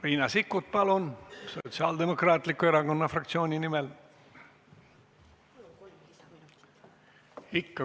Riina Sikkut, palun, Sotsiaaldemokraatliku Erakonna fraktsiooni nimel!